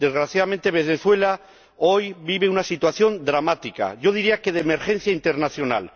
Desgraciadamente, Venezuela vive hoy una situación dramática, yo diría que de emergencia internacional.